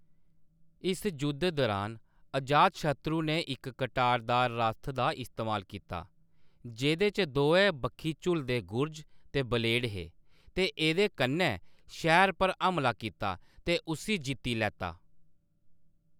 इस जुद्ध दरान, अजातशत्रु ने इक कटारदार रथ दा इस्तेमाल कीता, जेह्‌‌‌दे च दोऐ बक्खी झुल्लदे गुरज ते ब्लेड हे ते एह्‌‌‌दे कन्नै शैहर पर हमला कीता ते उस्सी जित्ती लैता।